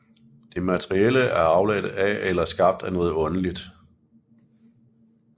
Det materielle er afledt af eller skabt af noget åndeligt